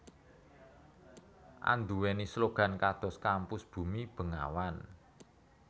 anduwèni slogan kados Kampus Bumi Bengawan